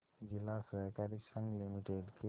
जिला सहकारी संघ लिमिटेड के